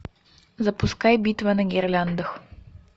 запускай битва на гирляндах